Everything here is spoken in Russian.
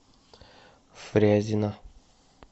фрязино